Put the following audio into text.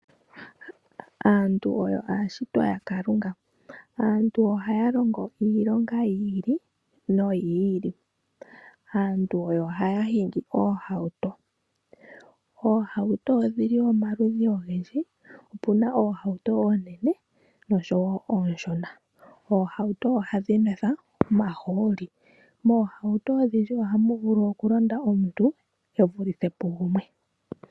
Aantu oyo aashitwa yaKalunga, oha ya longo iilonga yi ili, no yi ili. Aantu oha ya hingi oohauto. Oohauto odhili omaludhi ogendji, opuna oohauto oonene nosho woo onshona. oohauto oha dhi nwethwa omahooli. Oohatu oha dhinwethwa omahooli. Moohauto odhindji oha mu vulu okulonda omuntu evulithe pu gumwe.